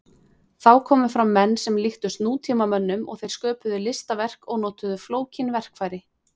Þá komu fram menn sem líktust nútímamönnum og þeir sköpuðu listaverk og notuðu flókin verkfæri.